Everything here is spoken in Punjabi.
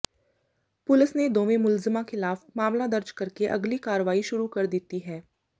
ਪੁਲਸ ਨੇ ਦੋਵੇਂ ਮੁਲਜ਼ਮਾਂ ਖਿਲਾਫ਼ ਮਾਮਲਾ ਦਰਜ ਕਰਕੇ ਅਗਲੀ ਕਾਰਵਾਈ ਸ਼ੁਰੂ ਕਰ ਦਿੱਤੀ ਹੈ